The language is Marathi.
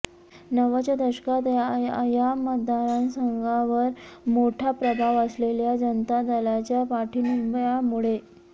नव्वदच्या दशकात या मतदारसंघावर मोठा प्रभाव असलेल्या जनता दलाच्या पाठिंब्यामुळे